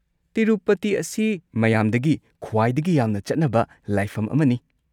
ꯇꯤꯔꯨꯄꯇꯤ ꯑꯁꯤ ꯃꯌꯥꯝꯗꯒꯤ ꯈ꯭ꯋꯥꯏꯗꯒꯤ ꯌꯥꯝꯅ ꯆꯠꯅꯕ ꯂꯥꯏꯐꯝ ꯑꯃꯅꯤ꯫